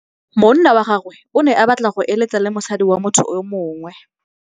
Monna wa gagwe o ne a batla go êlêtsa le mosadi wa motho yo mongwe.